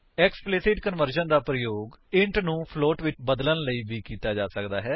explicit conversion ਦਾ ਪ੍ਰਯੋਗ int ਨੂੰ ਫਲੋਟ ਵਿੱਚ ਬਦਲਨ ਲਈ ਵੀ ਕੀਤਾ ਜਾ ਸਕਦਾ ਹੈ